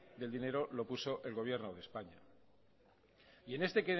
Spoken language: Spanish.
del dinero lo puso el gobierno de españa y en este